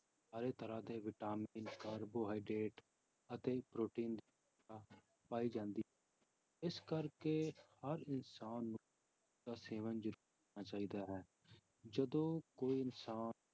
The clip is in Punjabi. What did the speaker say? ਸਾਰੇ ਤਰ੍ਹਾਂ ਦੇ ਵਿਟਾਮਿਨ, ਕਾਰਬੋਹਾਈਡ੍ਰੇਟ ਅਤੇ ਪ੍ਰੋਟੀਨ ਪਾ~ ਪਾਏ ਜਾਂਦੇ, ਇਸ ਕਰਕੇ ਹਰ ਇਨਸਾਨ ਨੂੰ ਇਸਦਾ ਸੇਵਨ ਜ਼ਰੂਰ ਚਾਹੀਦਾ ਹੈ, ਜਦੋਂ ਕੋਈ ਇਨਸਾਨ